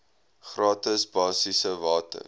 gratis basiese water